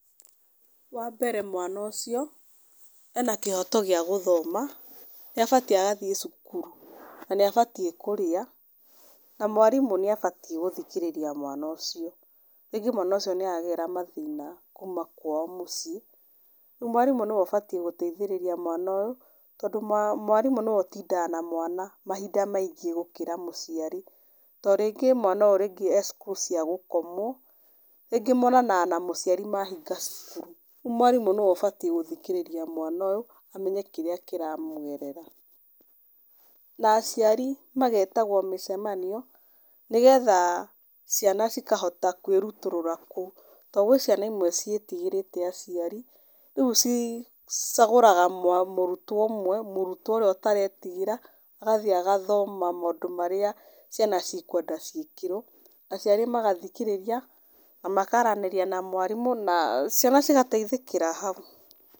Wa mbere, mwana ũcio ena kĩhoto gĩa gũthoma, nĩ abatiĩ agathiĩ cukuru. Na nĩ abatiĩ kũrĩa, na mwarimũ nĩ abatiĩ gũthikĩrĩria mwana ũcio. Rĩngĩ mwana ũcio nĩaragerera mathĩna kuma kwao mũciĩ, rĩu mwarimũ nĩwe ũbatiĩ gũteithĩrĩria mwana ũyũ, tondũ mwarimũ nĩwe ũtindaga na mwana mahinda maingĩ gũkĩra mũciari. Ta rĩngĩ mwana ũyũ e cukuru cia gũkomwo, rĩngĩ monananga na mũciari mahinga cukuru. Rĩu mwarimũ nĩwe ũbatiĩ gũthikĩrĩria mwana ũyũ amenye kĩrĩa kĩramũgerera. Na aciari magetahwo mũcemanio, nĩgetha ciana cikahota kũĩrutũrũra kũu, tondũ gwĩ ciana imwe ciĩtigĩrĩte aciari, rĩu ci cagũraga mũrutwo ũmwe, mũrutwo ũrĩa ũtaretigĩra, agathiĩ agathoma maũndũ marĩa ciana cikwenda ciĩkĩrwo, aciari magathikĩrĩria na makaranĩria na mwarimũ na ciana cigateithĩkĩra hau.